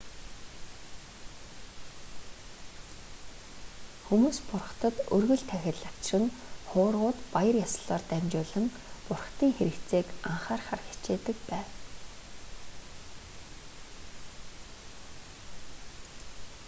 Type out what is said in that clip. хүмүүс бурхдад өргөл тахил авчран хуврагууд баяр ёслолоор дамжуулан бурхдын хэрэгцээг анхаарахыг хичээдэг бав